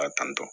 Ka tantɔ